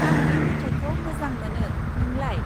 आं बे मेथाइखौ मोजां मोनो, नोंलाय?